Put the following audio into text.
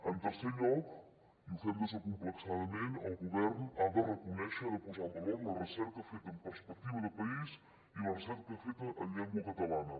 en tercer lloc i ho fem desacomplexadament el govern ha de reconèixer ha de posar en valor la recerca feta amb perspectiva de país i la recerca feta en llengua catalana